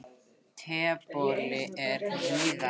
Tebolli er víðari.